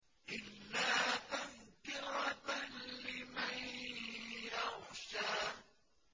إِلَّا تَذْكِرَةً لِّمَن يَخْشَىٰ